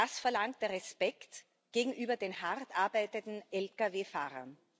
Das verlangt der Respekt gegenüber den hart arbeitenden Lkw Fahrern.